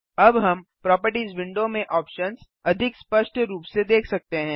अब हम properties window में ऑप्शन्स अधिक स्पष्ट रूप से देख सकते हैं